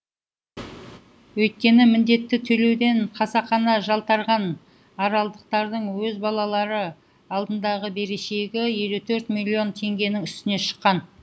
өйткені міндетті төлеуден қасақана жалтарған аралдықтардың өз балалары алдындағы берешегі елу төрт миллион теңгенің үстіне шыққан